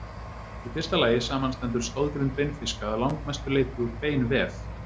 Í fyrsta lagi samanstendur stoðgrind beinfiska að langmestu leyti úr beinvef.